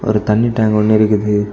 ஒரு தண்ணி டேங்க் ஒன்னு இருக்குது.